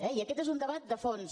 i aquest és un debat de fons